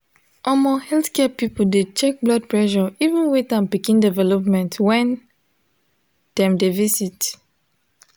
omo healthcare people de check blood pressure even weight and pikin development when dem de visit